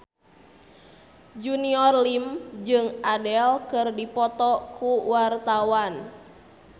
Junior Liem jeung Adele keur dipoto ku wartawan